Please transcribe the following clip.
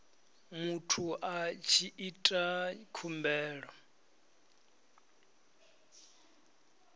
muthu a tshi ita khumbelo